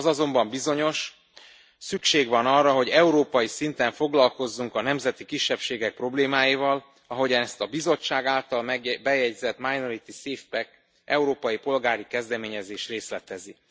Az azonban bizonyos szükség van arra, hogy európai szinten foglalkozzunk a nemzeti kisebbségek problémáival, ahogyan azt a Bizottság által bejegyzett Minority SafePack európai polgári kezdeményezés részletezi.